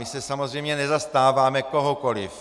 My se samozřejmě nezastáváme kohokoli.